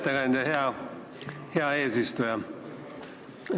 Lugupeetud ettekandja!